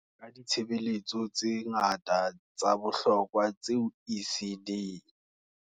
Ka ditshebeletso tse ngata tsa bohlokwa tseo ECD.